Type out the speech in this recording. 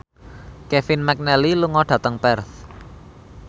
Kevin McNally lunga dhateng Perth